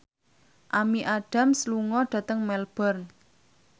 Amy Adams lunga dhateng Melbourne